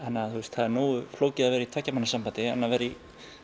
það er nógu flókið að vera í tveggja manna sambandi en að vera í